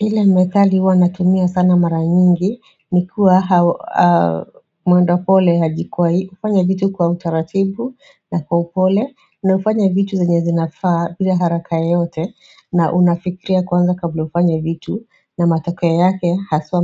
Ile methali huwa natumia sana mara nyingi ni kuwa mwenda pole hajikwai hii ufanya vitu kwa utaratibu na kwa upole na ufanya vitu zenye zinafaa bila haraka yoyote, na unafikiria kwanza kabla ufanye vitu na matakeo yake haswa